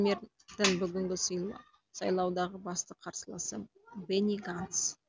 премьердің бүгінгі сайлаудағы басты қарсыласы бени ганц